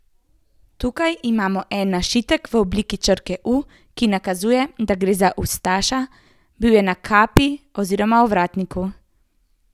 Tukaj imamo en našitek v obliki črke U, ki nakazuje, da gre za ustaša, bil je na kapi oziroma ovratniku.